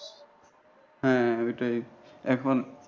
হ্যাঁ ওইটাই এখন।